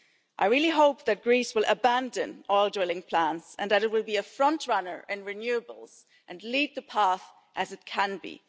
on. I really hope that Greece will abandon all drilling plans and that it will be a frontrunner in renewables and lead the path as it can